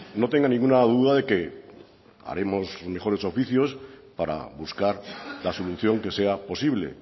no tenga ninguna duda de que haremos mejores oficios para buscar la solución que sea posible